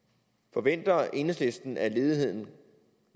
forventer enhedslisten at ledigheden